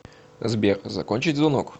сбер закончить звонок